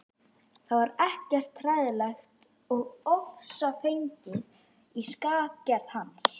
Það var ekkert hræðilegt og ofsafengið í skapgerð hans.